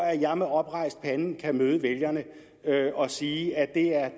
at jeg med oprejst pande kan møde vælgerne og sige at det er